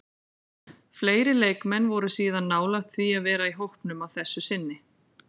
Fleiri leikmenn voru síðan nálægt því að vera í hópnum að þessu sinni.